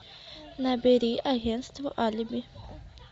набери агентство алиби